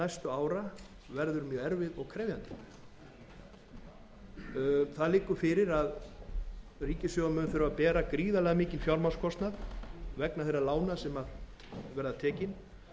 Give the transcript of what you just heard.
næstu ára verður mjög erfið og krefjandi það liggur fyrir að ríkissjóður mun þurfa að bera gríðarlega mikinn fjármagnskostnað vegna þeirra lána sem verða tekin